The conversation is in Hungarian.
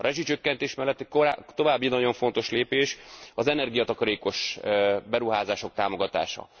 A rezsicsökkentés mellett további nagyon fontos lépés az energiatakarékos beruházások támogatása.